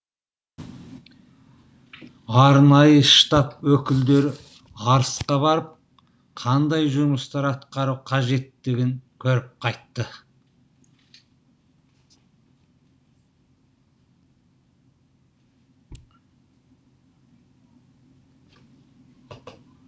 арнайы штаб өкілдері арысқа барып қандай жұмыстар атқару қажеттігін көріп қайтты